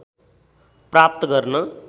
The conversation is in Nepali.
प्राप्त गर्न